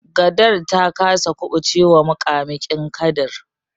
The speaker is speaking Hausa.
Gadar ta kasa kuɓucewa muƙamuƙin kadar.